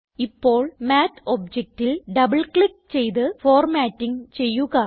ഇപ്പോൾ മാത്ത് objectൽ double click ചെയ്ത് ഫോർമാറ്റിംഗ് ചെയ്യുക